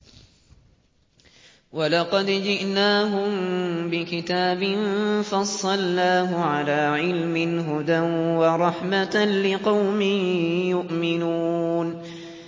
وَلَقَدْ جِئْنَاهُم بِكِتَابٍ فَصَّلْنَاهُ عَلَىٰ عِلْمٍ هُدًى وَرَحْمَةً لِّقَوْمٍ يُؤْمِنُونَ